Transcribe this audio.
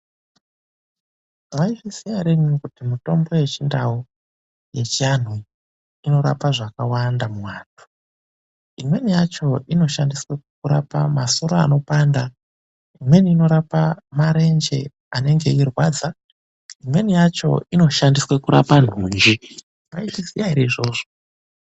Mwaizviziya ere imumu kuti mitombo yechiNdau, yechianhu iyi inorape zvakawanda muantu? Imweni yacho inoshandiswe kurapa masoro anopanda; imweni inorapa marenje anenge eirwadza; imweni yacho inoshandiswa kurapa nhunji. Mwaizviziya ere izvozvo?